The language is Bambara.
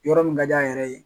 Yɔrɔ min ka di a yɛrɛ ye.